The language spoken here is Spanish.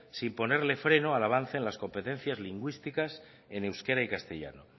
sin ponerle freno al avance en las competencias lingüísticas en euskera y castellano